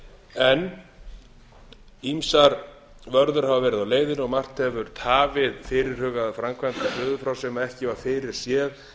en ýmsar vörður hafa verið á leiðinni og margt hefur tafið fyrirhugaðar framkvæmdir suður frá sem ekki var fyrirséð